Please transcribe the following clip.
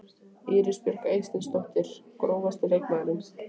Íris Björk Eysteinsdóttir Grófasti leikmaðurinn?